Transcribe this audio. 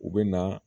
U bɛ na